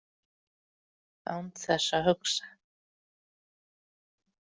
Án þess að hugsa.